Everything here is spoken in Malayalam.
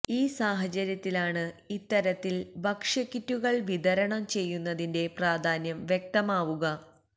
ഈ സാഹചര്യത്തിലാണ് ഇത്തരത്തില് ഭക്ഷ്യക്കിറ്റുകള് വിതരണം ചെയ്യുന്നതിന്റെ പ്രാധാന്യം വ്യക്തമാവുക